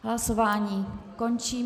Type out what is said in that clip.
Hlasování končím.